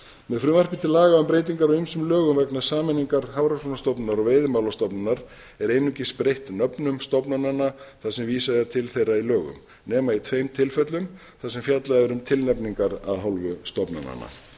með frumvarpi til laga um breytingar á ýmsum lögum vegna sameiningar hafrannsóknastofnunar og veiðimálastofnunar er einungis breytt nöfnum stofnananna þar sem vísað er til þeirra í lögum nema í tveim tilfellum þar sem fjallað um tilnefningar af hálfu stofnananna herra